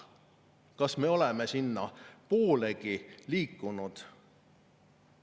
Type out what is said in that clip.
Kas me oleme sinnapoolegi liikunud?